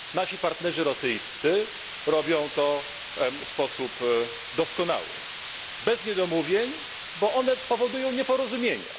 Nasi partnerzy rosyjscy robią to w sposób doskonały, bez niedomówień, bo one powodują nieporozumienia.